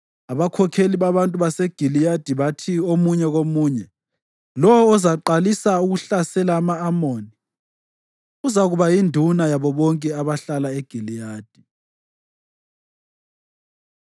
Abakhokheli babantu baseGiliyadi bathi omunye komunye, “Lowo ozaqalisa ukuhlasela ama-Amoni uzakuba yinduna yabo bonke abahlala eGiliyadi.”